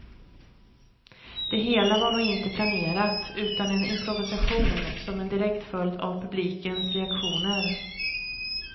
Det hela var nog inte planerat, utan en improvisation som en direkt följd av publikens reaktioner.